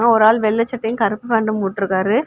ஒரு ஆள் வெள்ளை சட்டையும் கருப்பு ஃபேண்ட்டும் போட்டுருக்காரு.